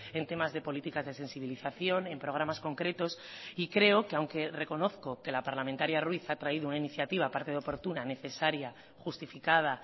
en temas de políticas de sensibilización en programas concretos y creo que aunque reconozco que la parlamentaria ruiz ha traído una iniciativa aparte de oportuna necesaria justificada